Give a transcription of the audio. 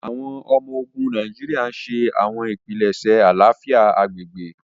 Awọn ọmọ-ogun Nàìjíríà n ṣe awọn ipilẹṣẹ àlàáfíà agbègbè.